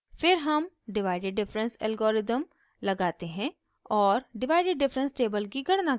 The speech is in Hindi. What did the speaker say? फिर हम divided difference algorithm लगाते हैं और divided difference table की गणना करते हैं